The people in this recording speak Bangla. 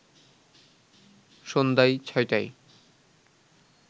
সন্ধ্যায় ৬টায়